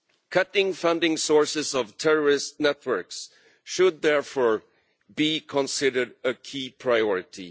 Cutting the funding sources of terrorist networks should therefore be considered a key priority.